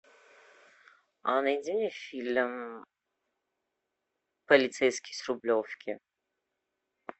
а найди мне фильм полицейский с рублевки